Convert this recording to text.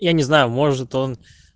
я не знаю может он